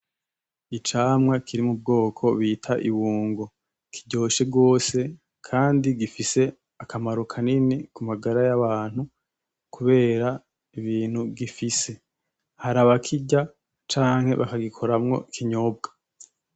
Icamwa kiri mu bwoko bita ibungo, kiryoshe rwose kandi gifise akamaro kanini ku magara y'abantu kubera ibintu gifise. Hari abakirya canke bakagikoramwo ikinyobwa.